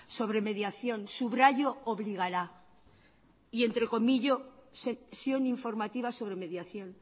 sobre mediación subrayo obligará y entrecomillo sesión informativa sobre mediación